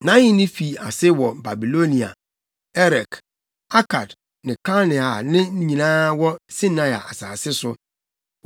Nʼahenni fii ase wɔ Babilonia, Erek, Akad ne Kalne a ne nyinaa wɔ Sinear + 10.10 Sinear kyerɛ tete Babilonia. asase so.